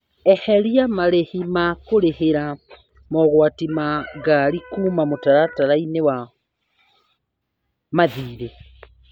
Eheria marĩhi ma kurĩhĩria mogwati ma ngari kuma mũtaratara-inĩ wa mathirĩ.